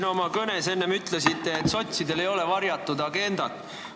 Te oma kõnes ütlesite, et sotsidel ei ole varjatud agendat.